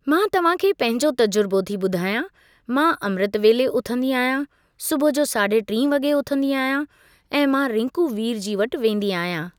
मां तव्हां खे पहिंजो तजुर्बो थी ॿुधायां मां अमृत वेले उथंदी आहियां, सुबूह जो साढे टी वॻे उथंदी आहियां ऐं मां रिंकू वीर जी वटि वेंदी आहियां।